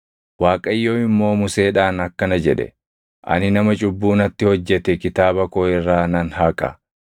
Waaqayyo immoo Museedhaan akkana jedhe; “Ani nama cubbuu natti hojjete kitaaba koo irraa nan haqa.